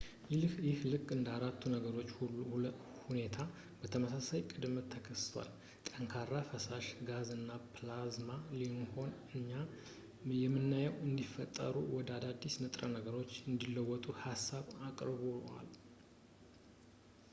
ይህ ልክ እንደ አራቱ የነገሮች ሁኔታ በተመሳሳይ ቅደም ተከተል-ጠንካራ ፣ ፈሳሽ ፣ ጋዝ እና ፕላዝማ ቢሆንም እኛ የምናየውን እንዲፈጠሩ ወደ አዳዲስ ንጥረ ነገሮች እንዲለወጡ ሀሳብ አቅርቧል